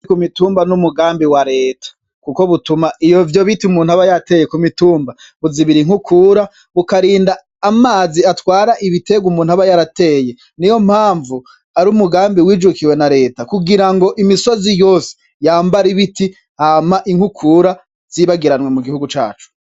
Ku mitumba n'umugambi wa reta kuko butuma ivyo biti umuntu aba yateye kumitumba buzibira inkukura bukarinda amazi atwara ibitegwa umuntu aba yarateye niyompanvu arumugambi wijukiwe na reta kugirango imisozi yose yambare ibiti hama inkukura zibagiranwe mu gihugu cacu.